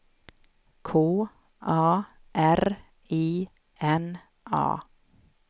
K A R I N A